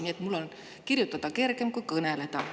Nii et mul on kirjutada kergem kui kõneleda.